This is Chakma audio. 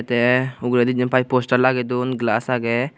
te uguredi jiyen pai postar lage don glass age.